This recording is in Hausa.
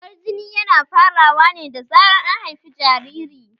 Zubar jini yana farawa ne da zan an haifi jariri